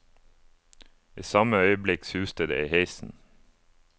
I samme øyeblikk suste det i heisen.